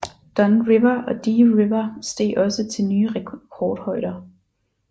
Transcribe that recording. Don River og Dee River steg også til nye rekordhøjder